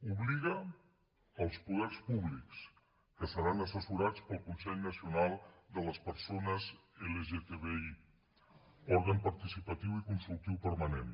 obliga els poders públics que seran assessorats pel consell nacional de les persones lgtbi òrgan participatiu i consultiu permanent